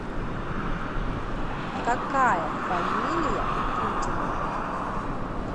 какая фамилия у путина